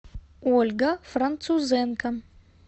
ольга французенко